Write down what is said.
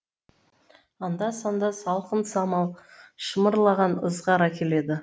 анда санда салқын самал шымырлаған ызғар әкеледі